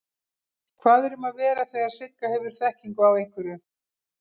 Hvað er um að vera þegar Sigga hefur þekkingu á einhverju?